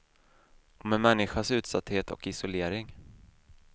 Om en människas utsatthet och isolering.